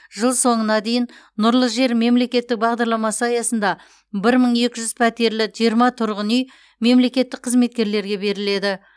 жыл соңына дейін нұрлы жер мемлекеттік бағдарламасы аясында бір мың екі жүз пәтерлі жиырма тұрғын үй мемлекеттік қызметкерлерге беріледі